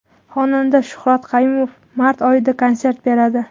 Xonanda Shuhrat Qayumov mart oyida konsert beradi.